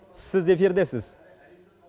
сіз эфирдесіз